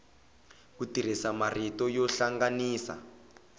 ku tirhisa marito yo hlanganisa